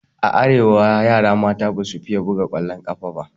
A arewa yara mata basu fiye buga ƙwallon ƙafa ba.